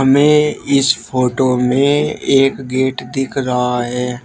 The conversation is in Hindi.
हमें इस फोटो में एक गेट दिख रहा है।